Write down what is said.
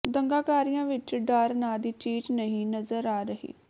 ਦੰਗਾਕਾਰੀਆਂ ਵਿਚ ਡਰ ਨਾਂ ਦੀ ਚੀਜ਼ ਨਹੀਂ ਨਜ਼ਰ ਆ ਰਹੀ